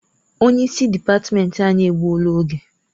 Onye isi dịpatmenti anyị egbuola oge.